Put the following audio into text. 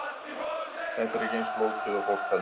Þetta er ekki eins flókið og fólk heldur.